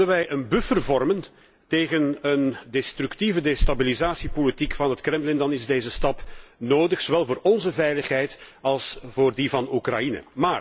Willen wij een buffer vormen tegen een destructieve destabilisatiepolitiek van het Kremlin, dan is deze stap nodig, zowel voor onze veiligheid als voor die van Oekraïne.